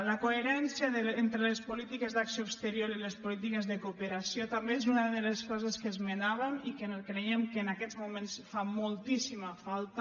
la coherència entre les polítiques d’acció exterior i les polítiques de cooperació també és una de les coses que esmenàvem i que creiem que en aquests moments fa moltíssima falta